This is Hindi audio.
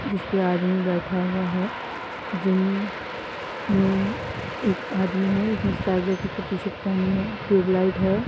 जिसपे आदमी बैठा हुआ है। जिम में एक आदमी है जिसने स्काई ब्लू की टी-शर्ट पहनी है। टूयूबलाइट है।